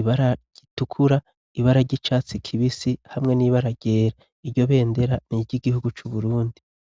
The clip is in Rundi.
ibara ritukura, ibara ry'icatsi kibisi, hamwe n'ibara ryera. iryo bendera niry'igihugu c'uburundi.